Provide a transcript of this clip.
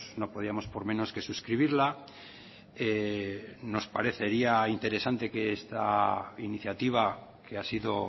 no podíamos por menos que suscribirla nos parecería interesante que esta iniciativa que ha sido